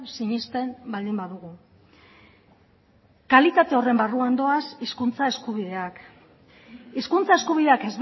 sinesten baldin badugu kalitate horren barruan doaz hizkuntza eskubideak hizkuntza eskubideak